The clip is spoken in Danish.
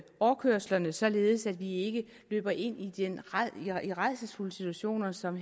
overkørslerne således at vi ikke løber ind i rædselsfulde situationer som